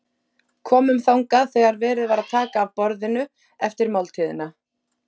Komum þangað þegar verið var að taka af borðinu eftir máltíðina.